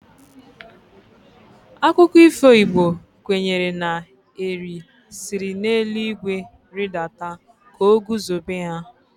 Akụkọ ifo Igbo kwenyere na Eri siri n'elu igwe ridata ka o guzobe ha.